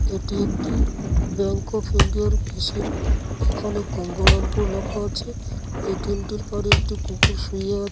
এটি একটি bank of India আর মেশিন এখানে গঙ্গারামপুর লেখা আছে । এ.টি.এম (A.T.M) টির পরে একটি কুকুর শুয়ে আ --